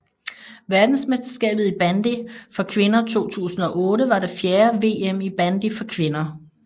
Verdensmesterskabet i bandy for kvinder 2008 var det fjerde VM i bandy for kvinder